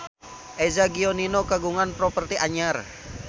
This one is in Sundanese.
Eza Gionino kagungan properti anyar